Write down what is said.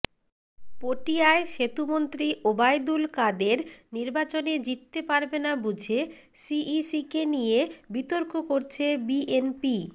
পটিয়ায় সেতুমন্ত্রী ওবায়দুল কাদের নির্বাচনে জিততে পারবে না বুঝে সিইসিকে নিয়ে বিতর্ক করছে বিএনপি